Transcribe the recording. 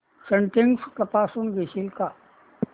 settings तपासून घेशील का